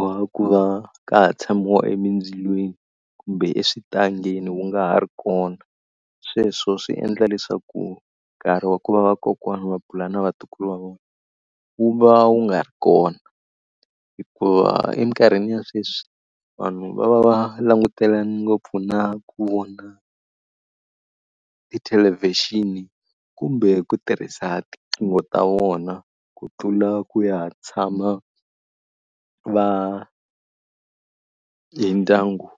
wa ku va ka ha tshamiwa emindzilweni kumbe exitangeni wu nga ha ri kona, sweswo swi endla leswaku nkarhi wa ku va vakokwana a bula na vatukulu va vona wu va wu nga ri kona. Hikuva emikarhini ya sweswi vanhu va va va langutelane ngopfu na ku vona tithelevhixini kumbe ku tirhisa tinqingho ta vona ku tlula ku ya tshama va hi ndyangu.